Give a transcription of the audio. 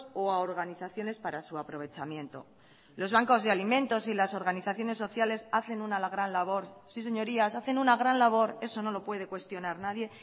o a organizaciones para su aprovechamiento los bancos de alimentos y las organizaciones sociales hacen una gran labor sí señorías hacen una gran labor eso no lo puede cuestionar nadie